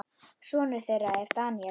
Sonur þeirra er Daníel.